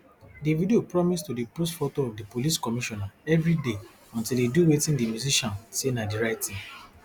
davido promise to dey post photo of di police commissioner evriday until e do wetin di musician say na di right tin